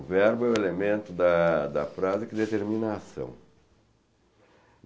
O verbo é o elemento da da frase que determina a ação.